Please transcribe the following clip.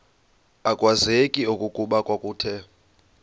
akwazeki okokuba kwakuthe